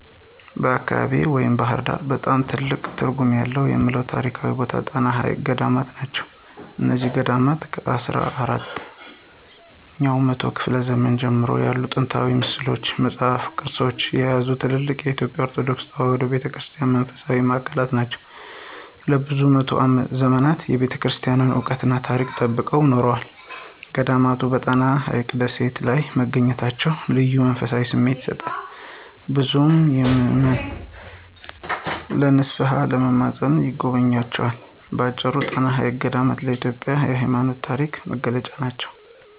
በአካባቢዬ (ባሕር ዳር) በጣም ትልቅ ትርጉም አለው የምለው ታሪካዊ ቦታ የጣና ሐይቅ ገዳማት ናቸው። እነዚህ ገዳማት ከአስራ አራተኛው መቶ ክፍለ ዘመን ጀምሮ ያሉ ጥንታዊ ሥዕሎችን፣ መጻሕፍትንና ቅርሶችን የያዙ ትልልቅ የኢትዮጵያ ኦርቶዶክስ ተዋሕዶ ቤተ ክርስቲያን መንፈሳዊ ማዕከላት ናቸው። ለብዙ መቶ ዘመናት የቤተክርስቲያኗን ዕውቀትና ታሪክ ጠብቀው ኖረዋል። ገዳማቱ በጣና ሐይቅ ደሴቶች ላይ መገኘታቸው ልዩ መንፈሳዊ ስሜት ይሰጣል፤ ብዙ ምዕመናን ለንስሓና ለመማፀን ይጎበኟቸዋል። በአጭሩ፣ ጣና ሐይቅ ገዳማት ለኢትዮጵያ የሃይማኖትና የታሪክ መገለጫ ናቸው።